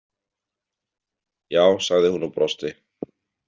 Já, sagði hún og brosti.